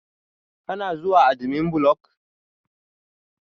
Kuna zuwa admin block?